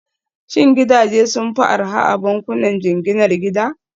Shin gidaje sun fi arha a bankunan jinginar gida?